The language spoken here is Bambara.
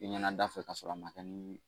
I ɲɛna da fɛ kasɔrɔ a ma kɛ ni